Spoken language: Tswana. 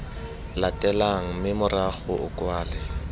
latelang mme morago o kwale